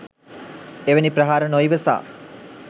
එවැනි ප්‍රහාර නොඉවසා